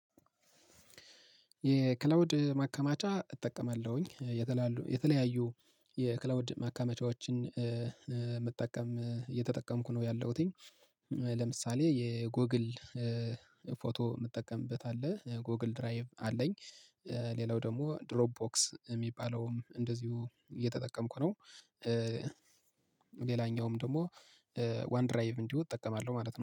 የክለውድ ማከማቻ እጠቀማለሁኝ የተለያዩ የክለውድ ማካመቻዎችን መጠቀም እየተጠቀምኩ ነው ያለሁት። ለምሳሌ የጎግል ፎቶ የምትጠቀምበት አለ ጎግል ድራይቭ አለኝ። ሌላው ደግሞ ድሮፕ ቦክስ የሚባለውም እንደዚሁ እየተጠቀምኩ ነው። ሌላኛውም ደግሞ ዋን ድራይቭ እንዲሁ እጠቀማለሁ ማለት ነው